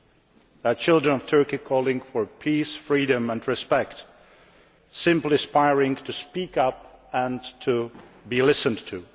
They are children of Turkey calling for peace, freedom and respect, simply aspiring to speak up and to be listened to.